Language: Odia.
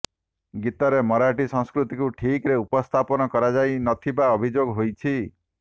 ଗୀତରେ ମରାଠୀ ସଂସ୍କୃତିକୁ ଠିକରେ ଉପସ୍ଥାପନ କରାଯାଇ ନ ଥିବା ଅଭିଯୋଗ ହୋଇଛି